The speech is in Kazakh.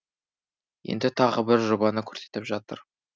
енді тағы бір жобаны көрсетіп жатыр